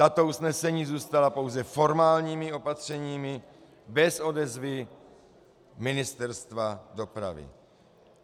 Tato usnesení zůstala pouze formálními opatřeními, bez odezvy Ministerstva dopravy.